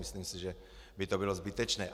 Myslím si, že by to bylo zbytečné.